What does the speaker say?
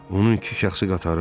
Onun iki şəxsi qatarı var.